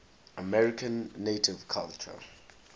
native american culture